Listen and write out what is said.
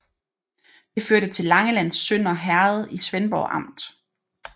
Det hørte til Langelands Sønder Herred i Svendborg Amt